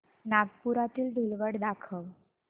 नागपुरातील धूलवड दाखव